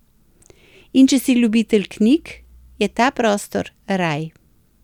In če si ljubitelj knjig, je ta prostor raj.